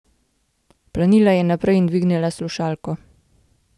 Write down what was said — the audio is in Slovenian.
Planila je naprej in dvignila slušalko.